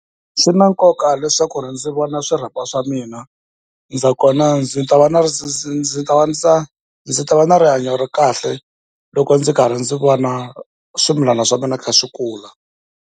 Swi na nkoka leswaku ndzi vona swirhapa swa mina, nakona ndzi ta va na ndzi ta va na rihanyo ra kahle loko ndzi karhi ndzi vona swimilana swa mina swi kha swi kula.